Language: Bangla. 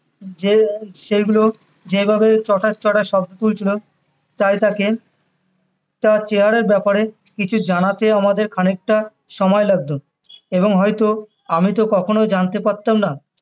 যে এই সেইগুলো যেইভাবে চটাস চটাস শব্দ তুলছিলো তাই তাকে তার চেহারার ব্যাপারে কিছু জানাতে আমাদের খানিকটা সময় লাগতো এবং হয়তো আমিতো কখনোই জানতে পারতাম না